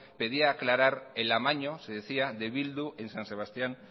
pedía aclarar el amaño se decía de bildu en san sebastián